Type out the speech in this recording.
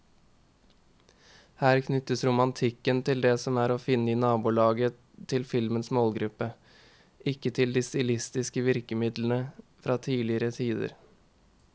Her knyttes romantikken til det som er å finne i nabolaget til filmens målgruppe, ikke til de stilistiske virkemidlene fra tidligere tider.